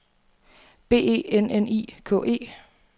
B E N N I K E